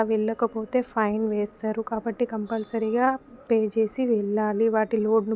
వెళ్లకపోతే fine వేస్తారు కాబట్టి కంపల్సరీగా పే చేసి వెళ్ళాలి వాటి లోడ--